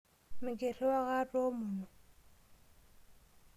Mikiriwaa ake atoomono.